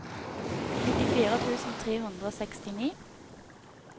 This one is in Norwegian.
nittifire tusen tre hundre og sekstini